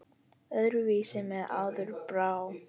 Öðru vísi mér áður brá.